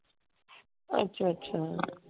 ਅੱਛਾ ਅੱਛਾ।